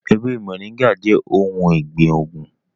Ewe móringạ jẹ ohun ọgbin oogun.